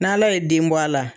N' ala ye denbɔ a la.